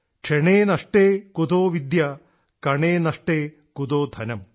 ക്ഷണേ നഷ്ടേ കുതോ വിദ്യാ കണേ നഷ്ടേ കുതോ ധനം